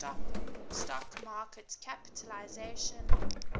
stock market capitalisation